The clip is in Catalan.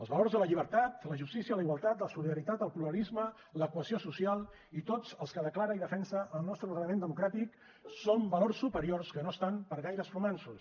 els valors de la llibertat la justícia la igualtat la solidaritat el pluralisme la cohesió social i tots els que declara i defensa el nostre ordenament democràtic són valors superiors que no estan per gaires romanços